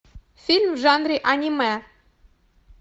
фильм в жанре аниме